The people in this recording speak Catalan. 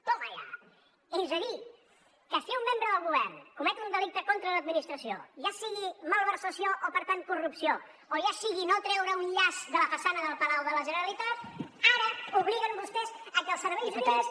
toma ya és a dir que si un membre del govern comet un delicte contra l’administració ja sigui malversació i per tant corrupció o ja sigui no treure un llaç de la façana del palau de la generalitat ara obliguen vostès a que els serveis jurídics